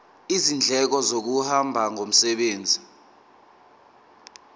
izindleko zokuhamba ngomsebenzi